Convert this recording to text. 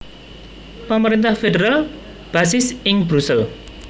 Pemerintah federal basis ing Brusel